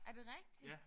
Er det rigtigt?